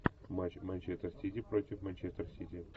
матч манчестер сити против манчестер сити